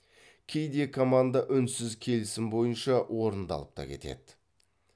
кейде команда үнсіз келісім бойынша орындалыпта кетеді